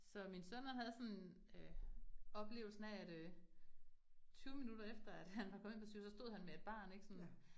Så min sønner havde sådan øh oplevelsen af at øh 20 minutter efter, at han var kommet ind på sygehuset, stod han med et barn ik sådan